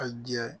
A jɛ